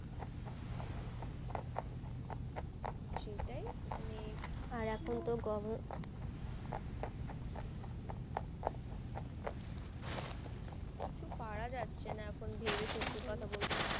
কিছুপারা যাচ্ছে না এখুন ভেবে সত্যি বলতে